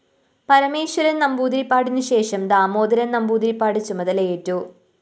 പരമേശ്വരന്‍ നമ്പൂതിരിപ്പാടിനുശേഷം ദാമോദരന്‍ നമ്പൂതിരിപ്പാട് ചുമതലയേറ്റു